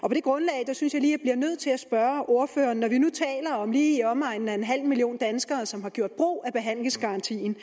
det grundlag synes jeg lige jeg bliver nødt til at spørge ordføreren når vi nu taler om lige i omegnen af en halv million danskere som har gjort brug af behandlingsgarantien